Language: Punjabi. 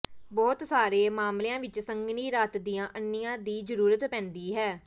ਬਹੁਤ ਸਾਰੇ ਮਾਮਲਿਆਂ ਵਿੱਚ ਸੰਘਣੀ ਰਾਤ ਦੀਆਂ ਅੰਨ੍ਹੀਆਂ ਦੀ ਜ਼ਰੂਰਤ ਪੈਂਦੀ ਹੈ